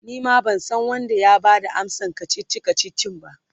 Nima bansan Wanda ya Bada amsan kachichi kachichin ba